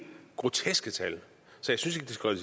groteske tal